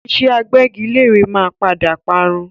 Ìṣe agbẹ́gilére máa padà parun